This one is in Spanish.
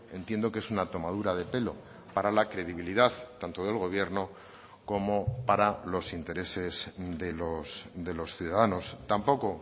entiendo que es una tomadura de pelo para la credibilidad tanto del gobierno como para los intereses de los ciudadanos tampoco